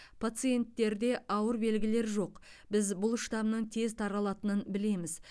пациенттерде ауыр белгілер жоқ біз бұл штамның тез таралатынын білеміз